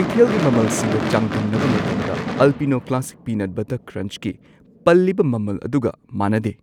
ꯀꯩꯊꯦꯜꯒꯤ ꯃꯃꯜꯁꯤꯡꯒ ꯆꯥꯡꯗꯝꯅꯕ ꯃꯇꯝꯗ ꯑꯜꯄꯤꯅꯣ ꯀ꯭ꯂꯥꯁꯤꯛ ꯄꯤꯅꯠ ꯕꯠꯇꯔ ꯀ꯭ꯔꯟꯆꯀꯤ ꯄꯜꯂꯤꯕ ꯃꯃꯜ ꯑꯗꯨꯒ ꯃꯥꯟꯅꯗꯦ꯫